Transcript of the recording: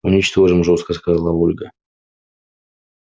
уничтожим жёстко сказала ольга